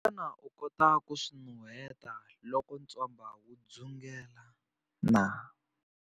Xana u kota ku swi nuheta loko ntswamba wu dzungela na?